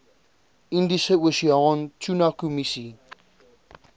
indiese oseaan tunakommissie